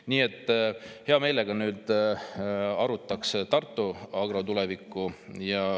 Nii et hea meelega arutaks Tartu Agro tulevikku.